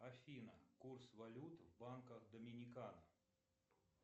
афина курс валют в банках доминикана